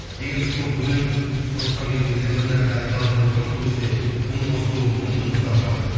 егер сол өнер тұрғысына келген кезде бір нәрсе айта алатын болсам сол кезде үн қосуым мүмкін мысалға